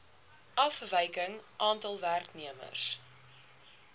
afwyking aantal werknemers